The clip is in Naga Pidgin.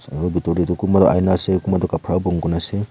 aro bitor teh kunba tu ieena ase kunba tu khapra bon kurina ase.